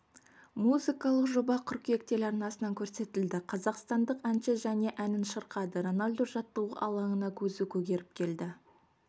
музкалық жоба қыркүйек телеарнасынан көрсетілді қазақстандық әнші және әнін шырқады роналду жаттығу алаңына көзі көгеріп келді